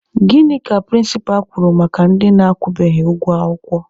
Gịnị ka prịnsịpa kwuru maka ndị akwụbeghị ụgwọ akwụkwọ?